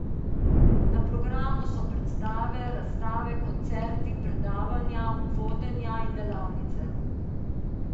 Na programu so predstave, razstave, koncerti, predavanja, vodenja in delavnice.